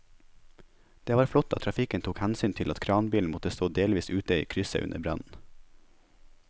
Det var flott at trafikken tok hensyn til at kranbilen måtte stå delvis ute i krysset under brannen.